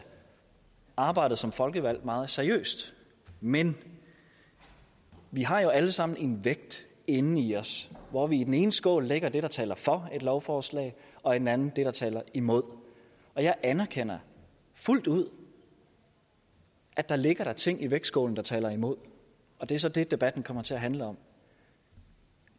arbejdet som folkevalgt meget seriøst men vi har jo alle sammen en vægt inden i os hvor vi i den ene skål lægger det der taler for et lovforslag og i den anden lægger det der taler imod jeg anerkender fuldt ud at der ligger ting i vægtskålen der taler imod og det er så det debatten kommer til at handle om